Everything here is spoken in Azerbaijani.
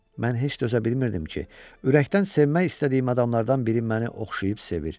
Mən heç dözə bilmirdim ki, ürəkdən sevmək istədiyim adamlardan biri məni oxşayıb sevir.